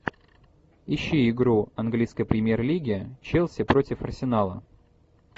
ищи игру английской премьер лиги челси против арсенала